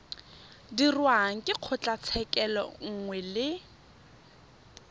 dirwang ke kgotlatshekelo nngwe le